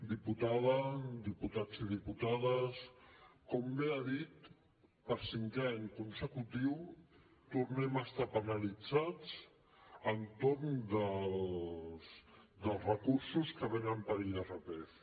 diputada diputats i diputades com bé ha dit per cinquè any consecutiu tornem a estar penalitzats entorn dels recursos que venen per irpf